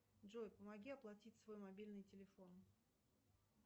джой помоги оплатить свой мобильный телефон